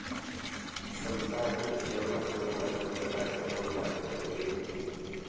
സംസ്ഥാനത്ത് നിക്ഷേപം നടത്തുന്നതുമായി ബന്ധപ്പെട്ട അദ്ദേഹവും ഭാര്യ പ്രതിഭയും ഐ.